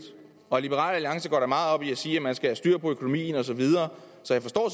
og liberal alliance går jo meget op i at sige at man skal have styr på økonomien osv så jeg forstår